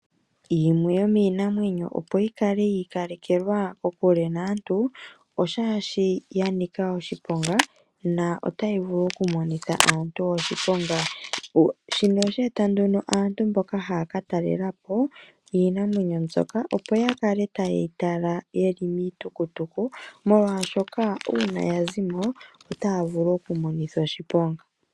Yimwe yomiinamwenyo opo yi kale yi ikalekekwa kokule naantu, omolwashoka oya nika oshiponga, notayi vulu okumonitha aantu oshiponga. Shino osha eta nduno aantu mboka haya katalelapo iinamwenyo mbyoka opo ya kale taye yi tala ye li miihauto, molwaashoka ngele oya zi mo otaya vulu okumonithwa oshiponga.